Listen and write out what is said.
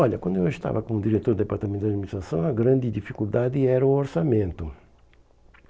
Olha, quando eu estava como diretor do Departamento de Administração, a grande dificuldade era o orçamento.